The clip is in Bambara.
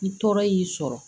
Ni tɔɔrɔ y'i sɔrɔ